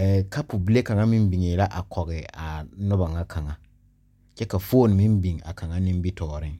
eɛɛ kapo bile kaŋa meŋ biŋee la a kɔge a noba ŋa kaŋa kyɛ ka foone meŋ biŋ nimitɔɔreŋ.